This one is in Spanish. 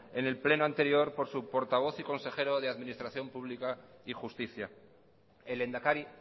en el pleno anterior por su portavoz y consejero de administración pública y justicia el lehendakari